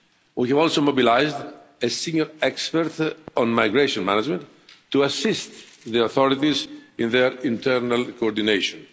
We have also mobilised a senior expert on migration management to assist the authorities in their internal coordination.